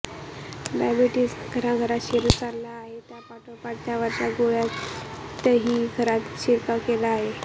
diabetes घराघरात शिरत चालला आहे त्यापाठोपाठ त्यावरच्या गोळ्यांनीही घरात शिरकाव केला आहे